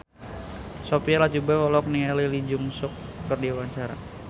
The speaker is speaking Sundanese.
Sophia Latjuba olohok ningali Lee Jeong Suk keur diwawancara